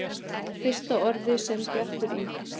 Fyrsta orðið sem Bjartur í